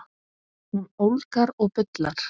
Hún ólgar og bullar.